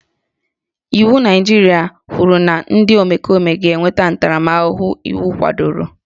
Iwu Naịjirịa kwuru na ndị omekome ga-enweta ntaramahụhụ iwu kwadoro